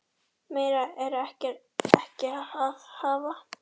Meira er ekki að hafa.